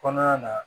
Kɔnɔna na